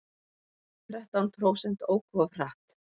Þrettán prósent óku of hratt